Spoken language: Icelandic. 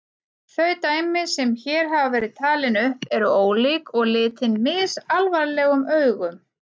Þau dæmi sem hér hafa verið talin upp eru ólík og litin misalvarlegum augum.